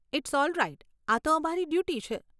It's alright આ તો અમારી ડ્યૂટી છે.